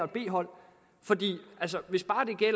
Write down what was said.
b hold og det